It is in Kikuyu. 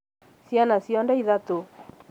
ciana ciothe ithatũ?